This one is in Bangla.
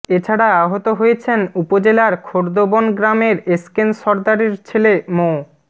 এ ছাড়া আহত হয়েছেন উপজেলার খোর্দবন গ্রামের এসকেন সরদারের ছেলে মো